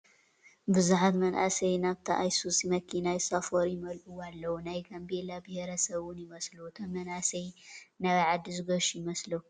ብዙሓት መናእሰይ ናብታ ኣይሱዚ መኪና ይሳፈሩን ይመልአዋን ኣለው፡፡ ናይ ጋምቤላ ብሄረ ሰብ ውን ይመስሉ፡፡ እቶም መናእሰይ ናበይ ዓዲ ዝገሹ ይመስሉ ኣለው?